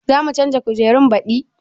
Za mu canza kujerun baɗi?